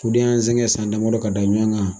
Den yen sɛŋɛ san damadɔ ka da ɲɛ ma